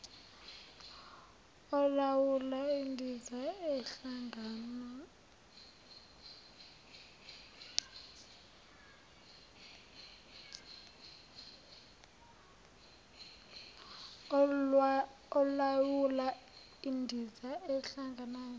olawula indiza ehlangana